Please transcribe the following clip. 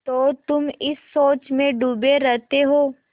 तो तुम इस सोच में डूबे रहते हो